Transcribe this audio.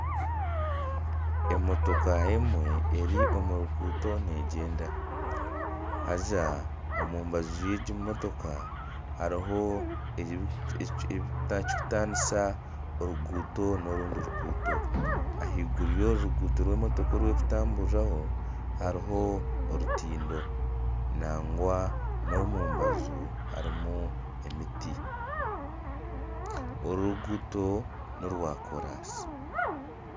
Emotooka emwe eri omu ruguuto negyenda haaza omubaju rwengi motooka hariho ekirikutanisa oruguuto n'orundi ruguuto ahaiguru y'oru ruguuto oru emotooka erikutamburiraho hariho orutindo nangwa n'omubaju harimu emiti oru ruguuto norwa kooransi.